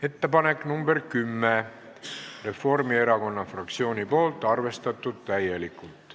Ettepanek nr 10, esitanud Reformierakonna fraktsioon, arvestatud täielikult.